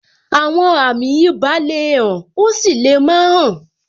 Àwọn àmì ibà le hàn, ó sì lè má hàn.